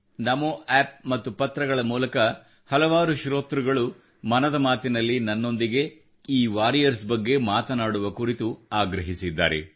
ನಮೋ app ಮತ್ತು ಪತ್ರಗಳ ಮೂಲಕ ಹಲವಾರು ಶ್ರೋತೃಗಳು ಮನದ ಮಾತಿನಲ್ಲಿ ನನ್ನೊಂದಿಗೆ ಈ ವಾರಿಯರ್ಸ್ ಬಗ್ಗೆ ಮಾತನಾಡುವ ಕುರಿತು ಆಗ್ರಹಿಸಿದ್ದಾರೆ